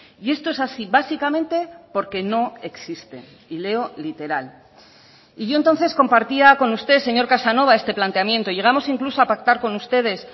y esto es así básicamente porque no existe y leo literal y yo entonces compartía con usted señor casanova este planteamiento llegamos incluso a pactar con ustedes